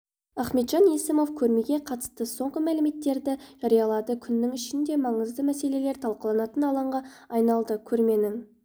ахметжан есімов көрмеге қатысты соңғы мәліметтерді жариялады күннің ішінде маңызды мәселелер талқыланатын алаңға айналды көрменің